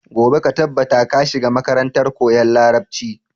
Gobe ka tabbata ka shiga makarantar koyan Larabci.